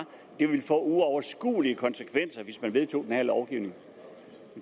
det ville få uoverskuelige konsekvenser hvis man vedtog den her lovgivning